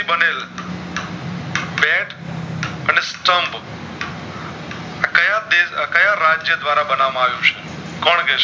ક્યાં દેશ ક્યાં રાજ્ય દ્વારા બનાવામાં આવ્યુ છે કોણ